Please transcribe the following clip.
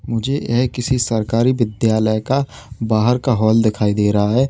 मुझे ये किसी सरकारी विद्यालय का बाहर का हॉल दिखाई दे रहा है।